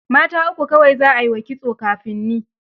Mata uku kawai za ai wa kitson kafin ni.